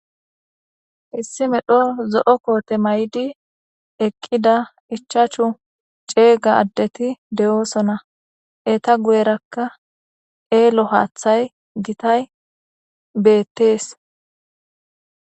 Issi medho zo' kote mayidi eqida ichachu cega adeti deosona eta guyeraka eelo haththay gitay betes.